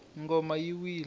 ngoma yi wile